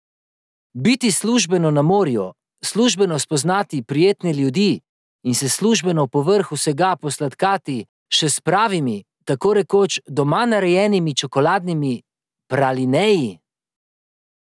Biti službeno na morju, službeno spoznati prijetne ljudi in se službeno povrh vsega posladkati še s pravimi, tako rekoč doma narejenimi čokoladnimi pralineji!